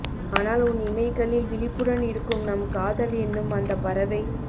ஆனால் உன் இமைகளில் விழிப்புடன் இருக்கும் நம் காதல் என்னும் அந்தப் பறவை